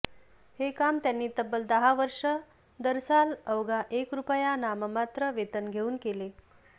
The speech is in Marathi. हे काम त्यांनी तब्बल दहा वर्षे दरसाल अवघा एक रुपया नाममात्र वेतन घेऊन केले